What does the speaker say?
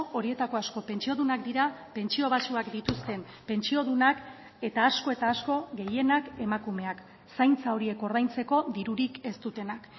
horietako asko pentsiodunak dira pentsio baxuak dituzten pentsiodunak eta asko eta asko gehienak emakumeak zaintza horiek ordaintzeko dirurik ez dutenak